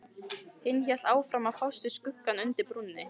Hinn hélt áfram að fást við skuggann undir brúnni.